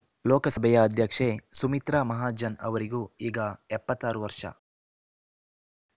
ಲೋಕಸಭೆಯ ಅಧ್ಯಕ್ಷೆ ಸುಮಿತ್ರಾ ಮಹಾಜನ್ ಅವರಿಗೂ ಈಗ ಎಪ್ಪತ್ತ್ ಆರು ವರ್ಷ